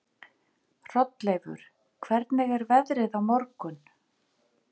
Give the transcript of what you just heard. Hrolleifur, hvernig er veðrið á morgun?